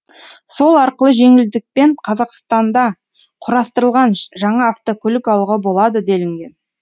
сол арқылы жеңілдікпен қазақстанда құрастырылған жаңа автокөлік алуға болады делінген